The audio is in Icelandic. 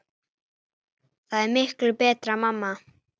Það er miklu betra mamma!